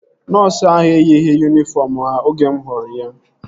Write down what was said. Nọọsu ahu eyighị yunifọm ha oge mụ hụrụ ya